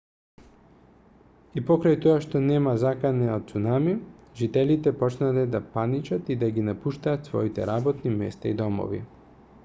и покрај тоа што нема закана од цунами жителите почнале да паничат и да ги напуштаат своите работни места и домовите